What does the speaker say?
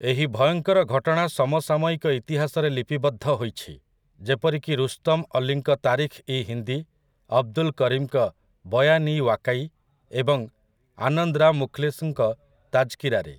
ଏହି ଭୟଙ୍କର ଘଟଣା ସମସାମୟିକ ଇତିହାସରେ ଲିପିବଦ୍ଧ ହୋଇଛି, ଯେପରିକି ରୁସ୍ତମ୍ ଅଲିଙ୍କ 'ତାରିଖ୍ ଇ ହିନ୍ଦୀ', ଅବ୍‌ଦୁଲ୍ କରିମ୍‌ଙ୍କ 'ବୟାନ୍ ଇ ୱାକାଇ' ଏବଂ ଆନନ୍ଦ୍ ରାମ୍ ମୁଖ୍‌ଲିସ୍‌ଙ୍କ 'ତାଜ୍‌କିରାରେ' ।